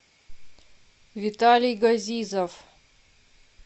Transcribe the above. виталий газизов